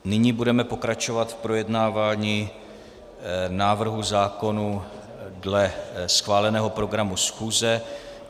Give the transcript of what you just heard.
Nyní budeme pokračovat v projednávání návrhů zákonů dle schváleného programu schůze.